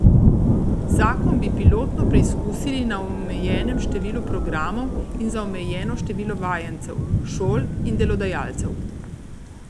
Zakon bi pilotno preizkusili na omejenem številu programov in za omejeno število vajencev, šol in delodajalcev.